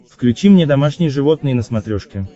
включи мне домашние животные на смотрешке